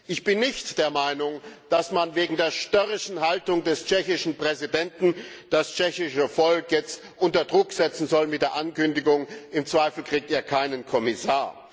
Ich bin nicht der Meinung, dass man wegen der störrischen Haltung des tschechischen Präsidenten das tschechische Volk jetzt unter Druck setzen soll mit der Ankündigung Im Zweifelsfall bekommt ihr keinen Kommissar!